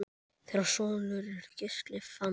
Þeirra sonur er Gísli Fannar.